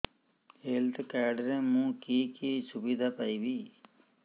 health card ରେ ମୁଁ କି କି ସୁବିଧା ପାଇବି